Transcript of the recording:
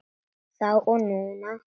Þá og núna.